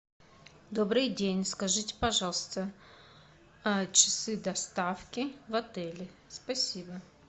добрый день скажите пожалуйста часы доставки в отеле спасибо